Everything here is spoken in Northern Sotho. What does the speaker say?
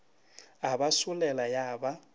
a ba solela ya ba